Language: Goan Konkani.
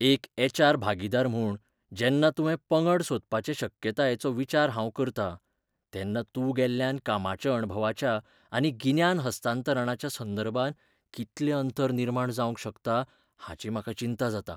एक एच. आर. भागीदार म्हूण, जेन्ना तुवें पंगड सोडपाचे शक्यतायेचो विचार हांव करतां, तेन्ना तूं गेल्ल्यान कामाच्या अणभवाच्या आनी गिन्यान हस्तांतरणाच्या संदर्भांत कितलें अंतर निर्माण जावंक शकता हाची म्हाका चिंता जाता.